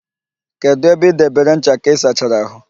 Kedụ ebe ị debere ncha ka ịsachara ahụ?